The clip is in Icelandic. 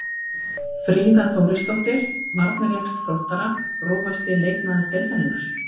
Fríða Þórisdóttir varnarjaxl Þróttara Grófasti leikmaður deildarinnar?